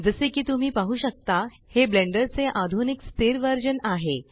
जसे की तुम्ही पाहु शकता हे ब्लेंडर चे आधुनिक स्थिर वर्जन आहे